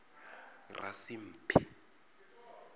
rasimphi